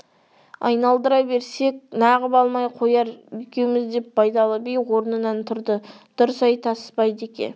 айналдыра берсек нағып алмай қояр екеуміз деп байдалы би орнынан тұрды дұрыс айтасыз байдеке